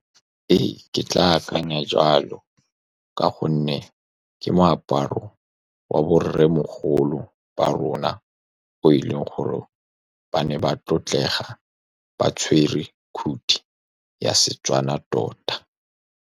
Ee, ke tla akanya jalo ka gonne ke moaparo wa borremogolo ba rona, bo e leng gore ba ne ba tlotlega, ba tshwere khuthi ya seTswana tota.